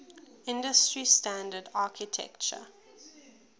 industry standard architecture